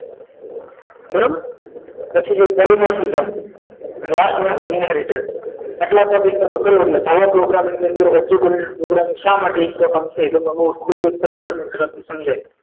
બરાબર પછી જો last રીતે આટલા topic કરો એટલે java program નો એની અંદર object oriantede programming શા માટે important છે ખુબ સરસ આ ગુજરાતી સમજે